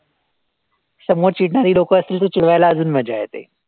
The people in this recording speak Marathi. समोर चिडणारी लोकं असतील तर चिडवायला अजून मजा येते.